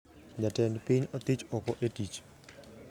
Jatend piny othich oko e tich